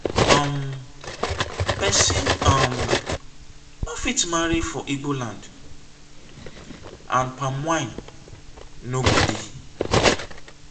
um pesin um no fit marry for igbo land and palm wine no go dey.